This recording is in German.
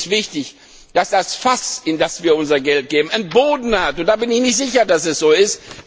Für mich ist wichtig, dass das Fass, in das wir unser Geld geben, einen Boden hat, und ich bin nicht sicher, dass es so ist.